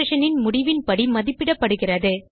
expressionன் முடிவின் படி மதிப்பிடப்படுகிறது